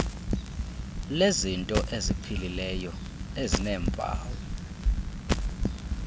lezinto eziphilileyo ezineempawu